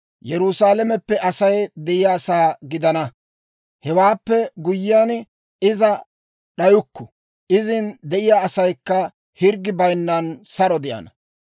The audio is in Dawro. Yerusaalame, Asay de'iyaasaa gidana; hewaappe guyyiyaan iza d'ayukku; izin de'iyaa asaykka hirggi bayinnan saro de'ana.